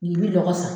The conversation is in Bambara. N'i bi lɔgɔ san